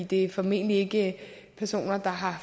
det er formentlig ikke personer der har